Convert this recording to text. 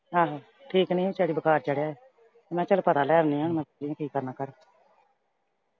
ਆਹੋ। ਠੀਕ ਨੀ ਸੀ ਵਿਚਾਰੀ ਬੁਖ਼ਾਰ ਚੜ੍ਹਿਆ ਐ। ਮੈਂ ਕਿਹਾ ਚੱਲ ਪਤਾ ਲੈ ਆਉਣੀ ਆਂ ਵੀ ਫ਼ਿਕਰ ਨਾ ਕਰ